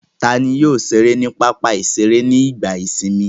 Ta ni yóò ṣeré ní pápá-ìṣeré nígbà ìsìnmi?